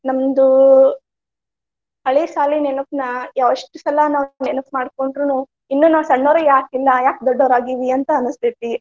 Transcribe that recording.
ನಮ್ದು ಹಳಿ ಸಾಲಿ ನೆನಪನಾ ಎಷ್ಟ ಸಲಾ ನಾವ ನೆನಪ ಮಾಡಕೊಂಡ್ರುನು ಇನ್ನು ನಾವ ಸಣ್ಣವ್ರ ಯಾಕ ಇಲ್ಲಾ ಯಾಕ ದೊಡ್ಡವ್ರ ಆಗಿವಿ ಅಂತ ಅನಸ್ತೆತಿ.